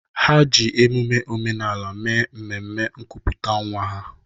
Ha ji emume omenala mee mmemme nkuputa nwa ha.